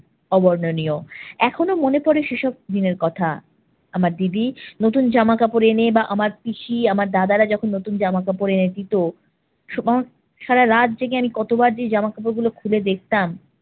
অবর্ণনীয়। এখনো মনে পরে সে সব দিনের কথা। আমার দিদি নতুন জামা কাপড় এনে বা আমার পিসি, আমার দাদারা যখন নতুন জামা কাপড় এনে দিত সারা রাত জেগে আমি কতবার যে জামা কাপড়গুলো খুলে দেখতাম,